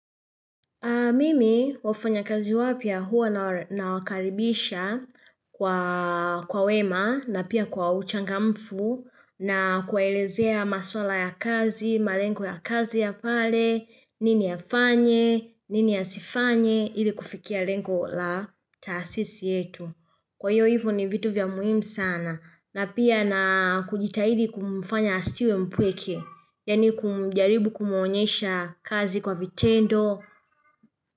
Mimi wafanya kazi wapya hua nawakaribisha kwa wema na pia kwa uchangamfu na kuwaelezea maswala ya kazi, malengo ya kazi ya pale, nini afanye, nini asifanye, ili kufikia lengo la taasisi yetu. Kwa hiyo hivo ni vitu vya muhimu sana. Na pia na kujitahidi kumfanya asiwe mpweke, yani kumjaribu kumuonyesha kazi kwa vitendo.